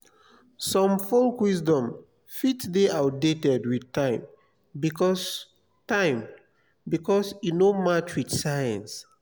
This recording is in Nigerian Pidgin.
some folk wisdom fit de outdated with time because time because e no match with science